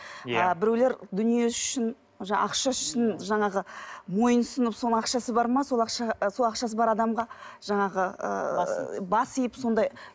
ы біреулер дүниесі үшін ақшасы үшін жаңағы мойынұсынып соның ақшасы бар ма сол ақшаға сол ақшасы бар адамға жаңағы бас иіп сондай